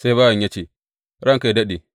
Sai bawan ya ce, Ranka yă daɗe!